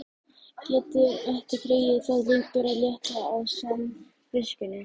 Getur ekki dregið það lengur að létta á samviskunni.